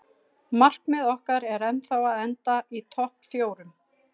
Markmið okkar er ennþá að enda í topp fjórum.